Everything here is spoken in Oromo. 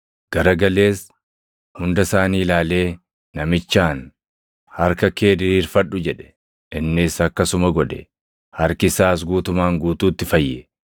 Gara galees hunda isaanii ilaalee namichaan, “Harka kee diriirfadhu” jedhe. Innis akkasuma godhe; harki isaas guutumaan guutuutti fayye.